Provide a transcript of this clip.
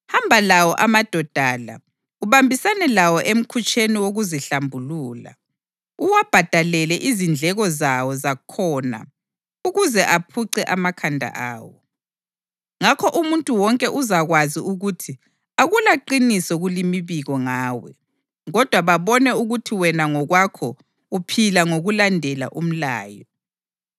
Hamba lawo amadoda la, ubambisane lawo emkhutsheni wokuzihlambulula, uwabhadalele izindleko zawo zakhona ukuze aphuce amakhanda awo. Ngakho umuntu wonke uzakwazi ukuthi akulaqiniso kulimibiko ngawe, kodwa babone ukuthi wena ngokwakho uphila ngokulandela umlayo.